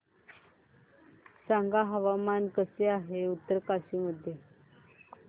सांगा हवामान कसे आहे उत्तरकाशी मध्ये